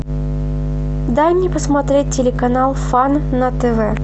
дай мне посмотреть телеканал фан на тв